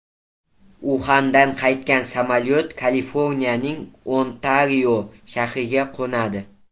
Uxandan qaytgan samolyot Kaliforniyaning Ontario shahriga qo‘nadi.